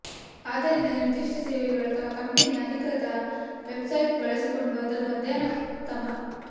ಆದ್ದರಿಂದ ನಿರ್ದಿಷ್ಟ ಸೇವೆಗಳು ಅಥವಾ ಕಂಪನಿಯ ಅಧಿಕೃತ ವೆಬ್ಸೈಟ್ ಬಳಸಿಕೊಂಡು ಅದನ್ನು ಅಧ್ಯಯನ ಉತ್ತಮ